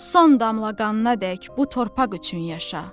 son damla qanınadək bu torpaq üçün yaşa.